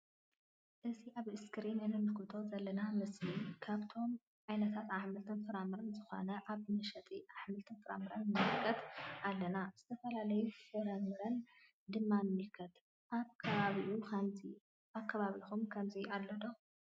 እዚ አብ እስክሪን እንምልከቶ ዘለና ምስሊ ካብቶም ዓይነታት አሕምልትን ፍረ ምረን ዝኮኑ አብ መሸጢ አሕምልትን ፍረምረን ንምልከት አለና::ዝተፈላለዩ ፍረ ምረታት ድማ ንምልከት::አብ ከባቢኩም ከምዚ አሎ ዶ?